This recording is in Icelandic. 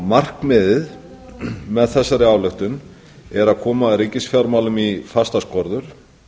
markmiðið með þeirri ályktun að er að koma ríkisfjármálum í fastar skorður